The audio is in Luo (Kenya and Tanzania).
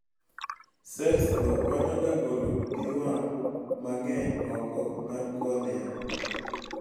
cellsgo konyoga golo pii wang' mang'eny oko mar cornea